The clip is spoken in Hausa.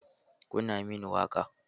Kunna mini waƙa!